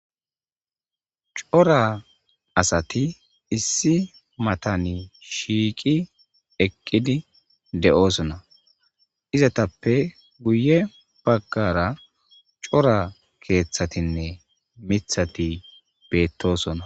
cora asati issi matani shiiqi eqqidi de7osona izatappe guye baggara cora keeththatinne mithati beettosona